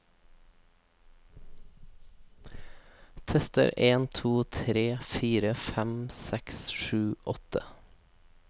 Tester en to tre fire fem seks sju åtte